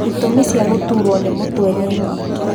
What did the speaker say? Itũmi cia gũtuurwo nĩ mũtwe nĩ nyingĩ